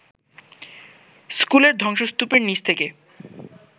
স্কুলের ধ্বংসস্তূপের নিচ থেকে